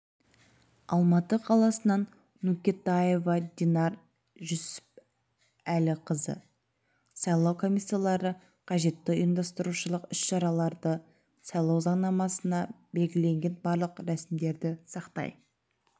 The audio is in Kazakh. алматы қаласынан нүкетаева динар жүсіпәліқызы сайлау комиссиялары қажетті ұйымдастырушылық іс-шараларды сайлау заңнамасында белгіленген барлық рәсімдерді сақтай